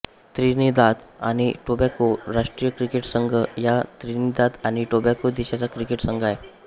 Trinidad आणि Tobago राष्ट्रीय cricket संघ हा त्रिनिदाद आणि टोबॅगो देशाचा क्रिकेट संघ आहे